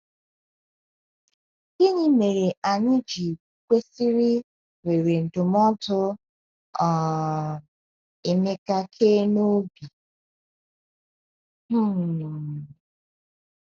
Gịnị mere anyị ji kwesịrị were ndụmọdụ um Emeka kee n’obi? um.